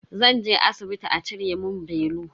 Zan je asibiti a cire mun belu.